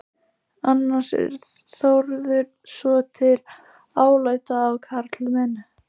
Annars var Þórður svotil alæta á karlmenn.